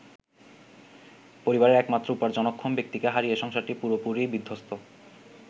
পরিবারের একমাত্র উপার্জনক্ষম ব্যক্তিকে হারিয়ে সংসারটি পুরোপুরিই বিধ্বস্ত।